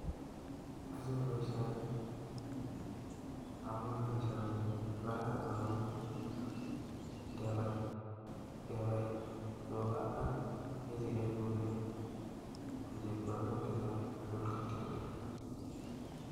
Achome boisioni amun boisioni koraran ako mie ngebai tuga ak ng'echiroik kouni ko chepkondok chechang' tuun kakyalda